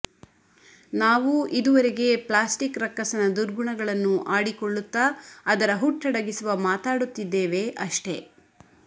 ನಾವೂ ಇದುವರೆಗೆ ಪ್ಲಾಸ್ಟಿಕ್ ರಕ್ಕಸನ ದುರ್ಗುಣಗಳನ್ನು ಆಡಿಕೊಳ್ಳುತ್ತ ಅದರ ಹುಟ್ಟಡಗಿಸುವ ಮಾತಾಡುತ್ತಿದ್ದೇವೆ ಅಷ್ಟೆ